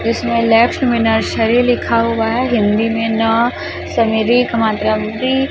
इसमें लेफ्ट में नर्सरी लिखा हुआ है हिंदी में ना --